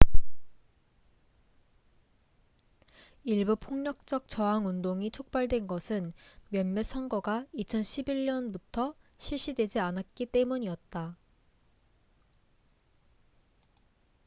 일부 폭력적 저항운동이 촉발된 것은 몇몇 선거가 2011년부터 실시되지 않았기 때문이었다